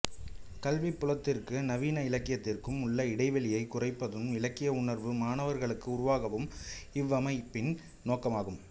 கல்விப் புலத்திற்கும் நவீன இலக்கியத்திற்கும் உள்ள இடைவெளியைக் குறைப்பதும் இலக்கிய உணர்வை மாணவர்களுக்கு உருவாக்குவதும் இவ்வமைப்பின் நோக்கமாகும்